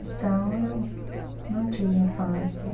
Então, eu não tive infância.